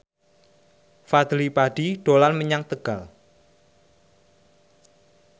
Fadly Padi dolan menyang Tegal